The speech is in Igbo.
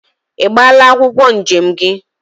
I gbala akwokwo njem gi?